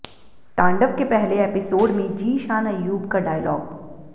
तांडव के पहले एपिसोड में जीशान अय्यूब का डायलॉग